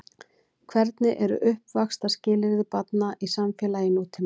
Hvernig eru uppvaxtarskilyrði barna í samfélagi nútímans?